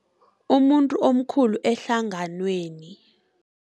Umuntu omkhulu ehlanganweni.